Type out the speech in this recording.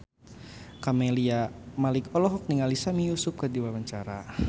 Camelia Malik olohok ningali Sami Yusuf keur diwawancara